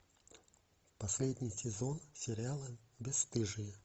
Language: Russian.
последний сезон сериала бесстыжие